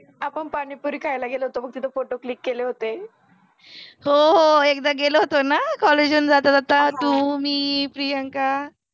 आपण पाणिपुरि खायला गेलो होतो बघ तिथ फोटो क्लिक केले होते हो हो एकदा गेलो होतो न कॉलेज जाता जाता तु मि प्रियंका